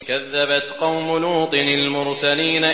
كَذَّبَتْ قَوْمُ لُوطٍ الْمُرْسَلِينَ